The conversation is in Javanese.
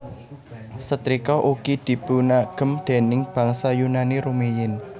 Setrika ugi dipunagem déning bangsa Yunani rumiyin